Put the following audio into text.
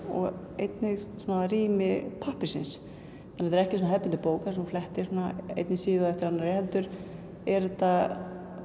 og einnig svona rými pappírsins þetta er ekki hefðbundin bók þar sem þú flettir svona einni síðu eftir annarri heldur er þetta